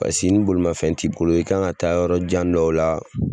Paseke ni bolomafɛn ti bolo i kan ka taa yɔrɔ jan dɔw la